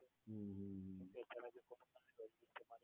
હમ્મ હમ્મ હમ્મ